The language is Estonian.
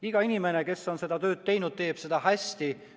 Iga inimene, kes on seda tööd teinud, on teinud seda hästi.